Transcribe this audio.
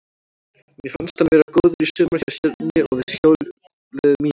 Mér fannst hann vera góður í sumar hjá Stjörnunni og við hjóluðum í hann.